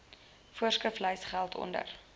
voorskriflys geld onder